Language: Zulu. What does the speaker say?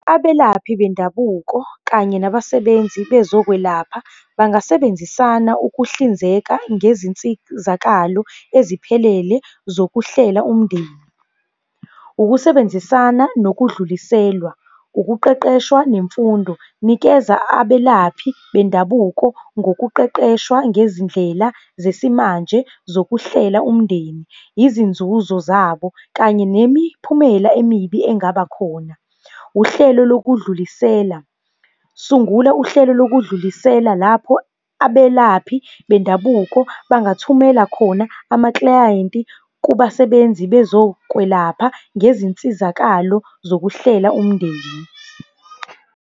Abelaphi bendabuko, kanye nabasebenzi bezokwelapha, bangasebenzisana ukuhlinzeka ngezinsizakalo eziphelele zokuhlela umndeni. Ukusebenzisana, nokudluliselwa, ukuqeqeshwa nemfundo, nikeza abelaphi bendabuko ngokuqeqeshwa ngezindlela zesimanje zokuhlela umndeni, izinzuzo zabo kanye nemiphumela emibi engabakhona. Uhlelo lokudlulisela, sungula uhlelo lokudlulisela lapho abelaphi bendabuko bangathumela khona amaklayenti kubasebenzi bezokwelapha ngezinsizakalo zokuhlela umndeni.